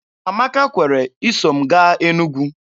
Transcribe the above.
Amaka kwere iso m gaa Enugwu.